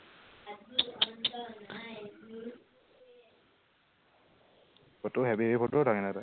photo heavy heavy photo উঠ কিন্তু তই